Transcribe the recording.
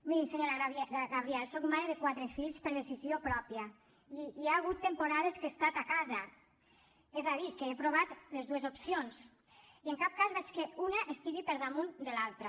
miri senyora gabriel soc mare de quatre fills per decisió pròpia i hi ha hagut temporades que he estat a casa és a dir que he provat les dues opcions i en cap cas veig que una estigui per damunt de l’altra